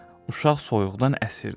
Uşaq soyuqdan əsirdi.